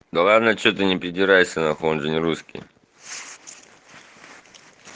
да ладно что ты не придирайся он же не русский